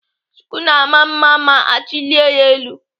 Shuku na-ama mma ma achilie ya elu.